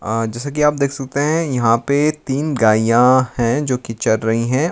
अ जैसा कि आप देख सकते है यहां पे तीन गायियां है जो कि चर रही है।